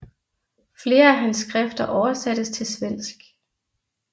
Flere af hans skrifter oversattes til svensk